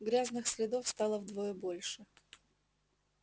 грязных следов стало вдвое больше